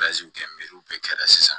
kɛ bɛɛ kɛra sisan